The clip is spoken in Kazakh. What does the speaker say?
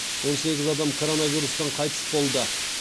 он сегіз адам коронавирустан қайтыс болды